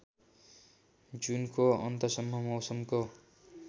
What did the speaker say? जुनको अन्तसम्म मौसमको